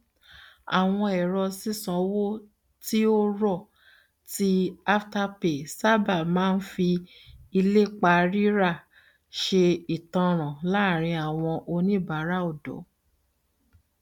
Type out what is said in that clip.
àwọn èrò sísànwọ ti o rọ ti afterpay sábà máa ń fi ilépa rírà ṣe ìtanràn láàrin àwọn oníbàárà ọdọ